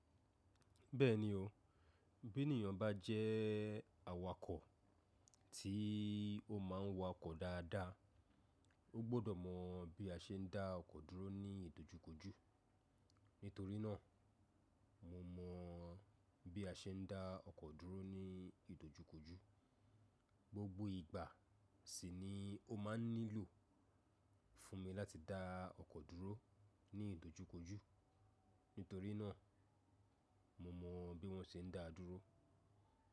Bẹ́ẹ̀ni o, bí ènìyàn bá jẹ́ awakọ̀ tí ó ma ń wakọ̀ dáadáa, ó gbọdọ̀ mọ bí a ṣe ń dá ọkọ̀ dúró ní ìdojúkojú. Nítorí náà, mo mọ bí a ṣe ń dá ọkọ̀ dúró ní ìdojúkojú. Gbogbo ìgbà sì ni ó ma ń nílò fún mi láti dá ọkọ̀ dúró ní ìdojúkojú. Nítorí náà, mo mọ bí wọ́n ṣe ń dáa dúró.